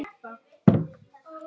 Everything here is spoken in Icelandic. Hvor ræður?